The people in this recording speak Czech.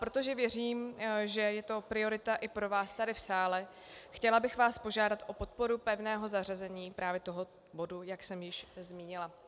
Protože věřím, že je to priorita i pro vás tady v sále, chtěla bych vás požádat o podporu pevného zařazení právě toho bodu, jak jsem již zmínila.